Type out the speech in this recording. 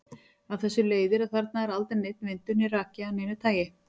Af þessu leiðir að þarna er aldrei neinn vindur né raki af neinu tagi.